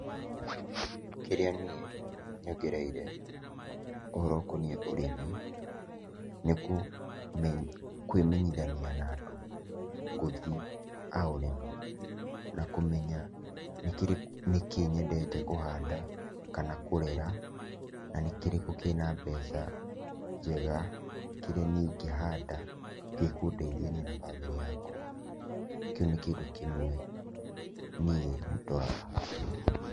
Kĩrĩa niĩ nyongereire ũhoro ũkoniĩ ũrĩmi nĩ kwĩmenyithania na andũ, gũthi aore na kũmenya nĩkĩĩ nyendete kũhanda kana kũrera na nĩkírĩkũ kĩna mbeca njega kĩrĩa niĩ ingĩhanda gĩkũndeithia niĩ na bamĩrĩ yakwa. Kĩu nĩ kĩndũ kĩmwe niĩ ndoraga.